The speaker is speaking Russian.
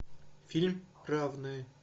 фильм равные